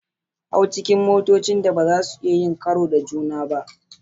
Hau cikin motocin da ba za su iya yin karo da juna ba.